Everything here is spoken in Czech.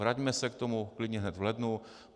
Vraťme se k tomu klidně hned v lednu.